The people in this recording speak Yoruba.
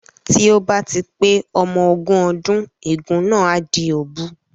Tí ó bá ti pé ọmọ ogún ọdún ègún náà á di òbu